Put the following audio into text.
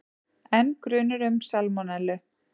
Enn grunur um salmonellu